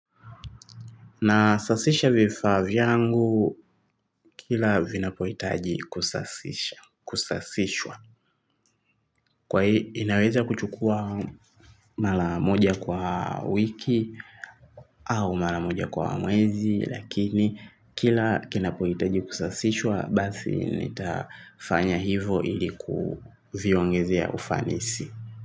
Na sasisha vifaa vyangu kila vinapohitaji kusasisha kusasishwa. Kwa hii inaweza kuchukua mara moja kwa wiki au mara moja kwa mwezi. Lakini kila kinapohitaji kusasishwa basi nitafanya hivo ili kuviongezea ufanisi.